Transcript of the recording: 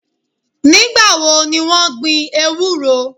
Nígbà wo ni wọ́n gbin ewúro?